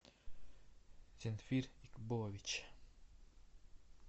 зинфир икболович